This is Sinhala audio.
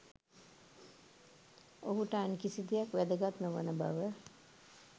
ඔහුට අන් කිසි දෙයක් වැදගත් නොවන බව